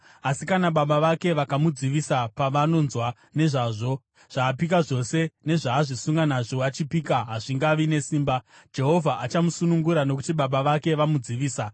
Asi kana baba vake vakamudzivisa pavanonzwa nezvazvo, zvaapika zvose nezvaazvisunga nazvo achipika hazvingavi nesimba; Jehovha achamusunungura nokuti baba vake vamudzivisa.